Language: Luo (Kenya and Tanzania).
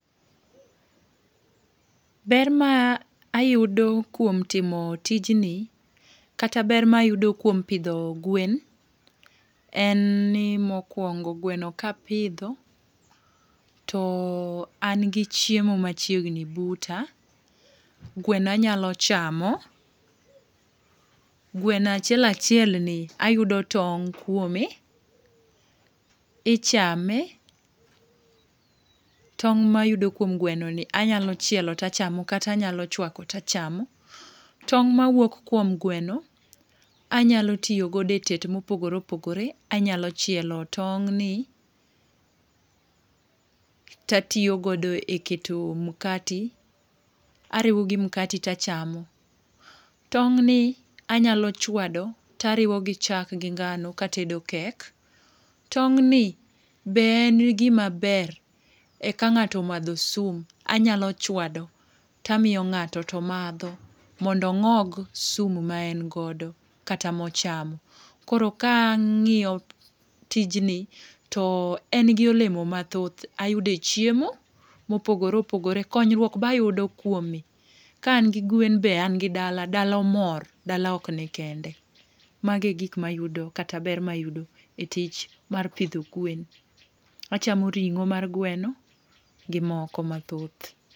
Ber ma ayudo kuom timo tijni kata ber ma ayudo kuom pidho gwen, en ni mokuongo gweno ka apidho to an gi chiemo ma chiegni buta, gweno anyalo chamo, gweno achiel achiel ayudo tong' kuome, ichame, tong' ma ayudo kuom gwenoni anya chielo to achamo kata anya chwako to achamo, tong' ma wuok kuom gweno anya tiyo go e tet ma opogore opogore, anya chielo tong' ni to atiyo godo e keto mkate, ariwo gi mkate ta achamo. Tong' ni anyalo chwado to ariwo gi chak gi ngano ka atedo kek .Tong' ni be en gi ma ber e ka ng'ato omadho sum to anyalo chwado to amiyo ng'ato to madho mondo ong'og sum ma en godo kata ma ochamo. Koro ka ang'iyo tijni to en gi olemo ma thoth ayudo e chiemo ma opogore opogore, konyruok be ayudo kuome, ka an gi gwen be an gi dala, dala mor, dala ok ni kende. Mago e gik ma ayudo kata ber ma ayudo e tich mar pidho gwen. Achamo ring'o mar gweno gi moko ma thoth.